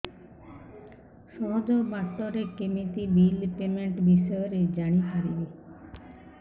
ସହଜ ବାଟ ରେ କେମିତି ବିଲ୍ ପେମେଣ୍ଟ ବିଷୟ ରେ ଜାଣି ପାରିବି